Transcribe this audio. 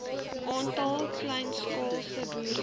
aantal kleinskaalse boere